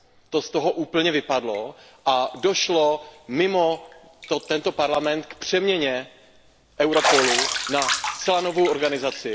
To z toho úplně vypadlo a došlo mimo tento Parlament k přeměně Europolu na zcela novou organizaci.